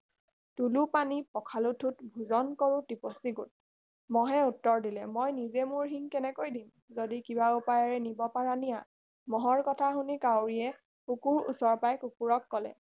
তোলো পানী পখালো ঠোট ভোজন কৰো টিপচী গোট মহে উত্তৰ দিলে মই নিজে মোৰ শিং কেনেকৈ দিম যাদি কিবা উপায়েৰে নিব পাৰা নিয়া মহৰ কথা শুনি কাউৰীয়ে কুকুৰৰ ওচৰ পাই কুকুৰক কলে